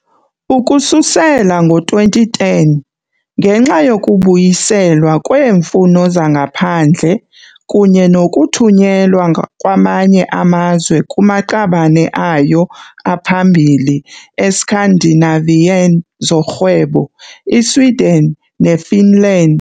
Ukususela ngo-2010, ngenxa yokubuyiselwa kweemfuno zangaphandle kunye nokuthunyelwa kwamanye amazwe kumaqabane ayo aphambili e-Scandinavian zorhwebo, i-Sweden ne- Finland.